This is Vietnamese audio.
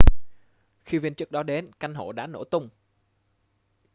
khi viên chức đó đến căn hộ đã nổ tung